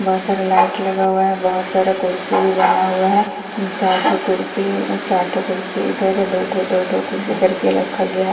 बहुत सारा लाइट लगा हुआ है बहुत सारा कुर्सी भी लगा हुआ है चार ठो कुर्सी है चार ठो कुर्सी इधर है दो ठो दो ठो कुर्सी करके रखा गया है औ--